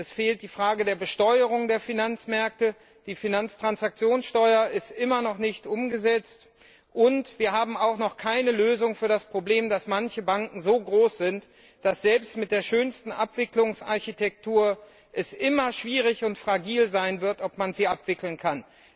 Es fehlt die Frage der Besteuerung der Finanzmärkte die Finanztransaktionssteuer ist immer noch nicht umgesetzt und wir haben auch noch keine Lösung für das Problem, dass manche Banken so groß sind, dass es selbst mit der schönsten Abwicklungsarchitektur immer schwierig sein wird, ob man sie abwickeln kann.